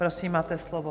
Prosím, máte slovo.